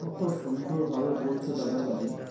কত সুন্দর ভাবে বলছো দাদাভাই